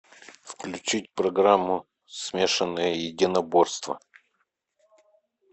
включить программу смешанные единоборства